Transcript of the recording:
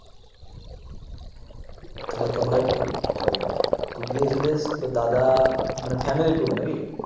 তাইলে তোমার কি সরি তো গিয়ে ছিলে তো দাদা মানে ফ্যামিলি টুর নাকি